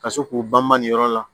Ka se k'u banba nin yɔrɔ la